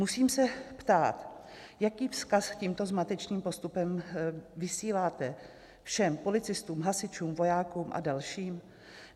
Musím se ptát, jaký vzkaz tímto zmatečným postupem vysíláte všem policistům, hasičům, vojákům a dalším?